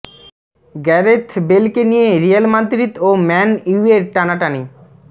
Gareth বেলকে নিয়ে Real Madrid ও ম্যান ইউয়ের টানাটানি